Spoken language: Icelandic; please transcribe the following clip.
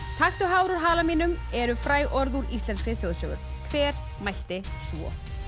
taktu hár úr hala mínum eru fræg orð úr íslenskri þjóðsögu hver mælti svo